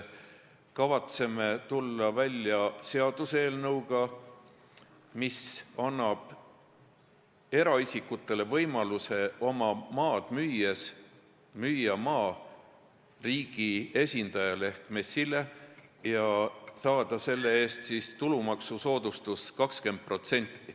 Me kavatseme tulla välja seaduseelnõuga, mis annab eraisikutele võimaluse müüa oma maa riigi esindajale ehk MES-ile ja saada sel juhul tulumaksusoodustust 20%.